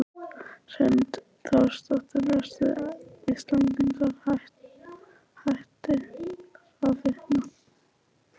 Hrund Þórsdóttir: Eru Íslendingar hættir að fitna?